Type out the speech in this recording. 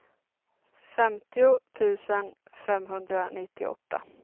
femtio tusen femhundranittioåtta